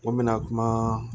Ko n bɛna kuma